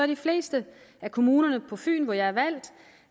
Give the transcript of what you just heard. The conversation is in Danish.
de fleste af kommunerne på fyn hvor jeg